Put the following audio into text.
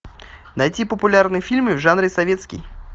найти популярные фильмы в жанре советский